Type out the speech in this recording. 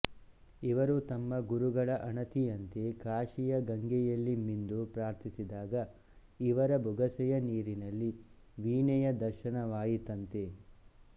ಇವರು ತಮ್ಮ ಗುರುಗಳ ಅಣತಿಯಂತೆ ಕಾಶಿಯ ಗಂಗೆಯಲ್ಲಿ ಮಿಂದು ಪ್ರಾರ್ಥಿಸಿದಾಗ ಇವರ ಬೊಗಸೆಯ ನೀರಿನಲ್ಲಿ ವೀಣೆಯ ದರ್ಶನವಾಯಿತಂತೆ